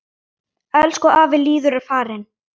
Elsku afi Lýður er farinn.